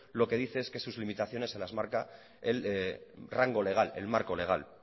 lo que dice es que sus limitaciones se las marca el rango legal el marco legal